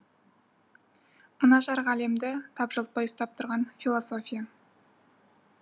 мына жарық әлемді тапжылтпай ұстап тұрған философия